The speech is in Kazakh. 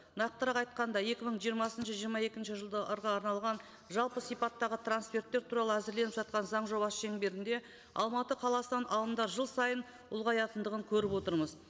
нақтырақ айтқанда екі мың жиырмасыншы жиырма екінші жылды арналған жалпы сипаттағы трансферттер туралы әзірленіп жатқан заң жобасы шеңберінде алматы қаласының ағымда жыл сайын ұлғаятындығын көріп отырмыз